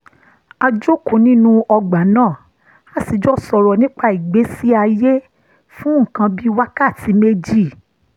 a jókòó nínú ọgbà náà a sì jọ sọ̀rọ̀ nípa ìgbésí ayé fún nǹkan bí wákàtí méjì